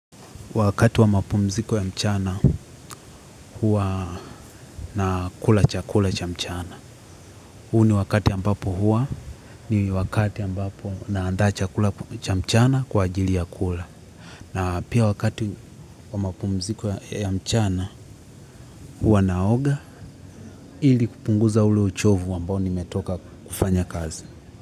Wakati wa mapumziko ya mchana huwa nakula chakula cha mchana. Huu ni wakati ambapo huwa ni wakati ambapo naandaa chakula cha mchana kwa ajili ya kula. Na pia wakati wa mapumziko ya mchana huwa naoga ili kupunguza ule uchovu ambao nimetoka kufanya kazi.